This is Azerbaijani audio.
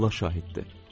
Allah şahiddir.